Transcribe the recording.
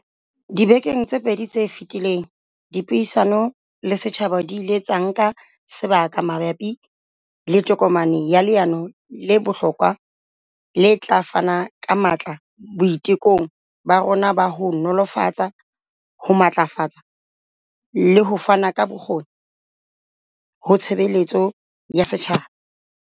Dibekeng tse pedi tse feti leng, dipuisano le setjhaba di ile tsa nka sebaka ma bapi le tokomane ya leano le bohlokwa le tla fana ka matla boitekong ba rona ba ho nolofatsa, ho matlafatsa le ho fana ka bokgoni ho tshebeletso ya setjhaba.